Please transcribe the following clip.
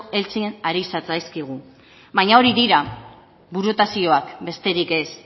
heltzen ari zatzaizkigu baina hori dira burutazioak besterik ez